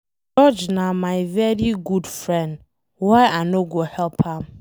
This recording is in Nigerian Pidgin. George na my very good friend. Why I no go help am?